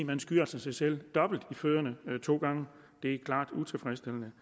man skyder sig selv i foden to gange det er klart utilfredsstillende